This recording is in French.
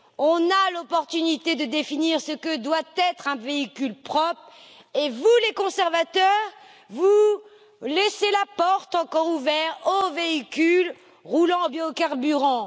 On a la possibilité de définir ce que doit être un véhicule propre et vous les conservateurs, vous laissez la porte encore ouverte aux véhicules roulant au biocarburant.